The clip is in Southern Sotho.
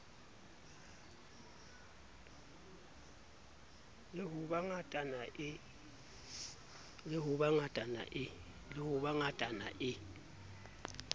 le ho ba ngatana e